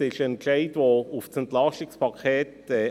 Es ist ein Entscheid, der auf das EP 2018 zurückzuführen ist.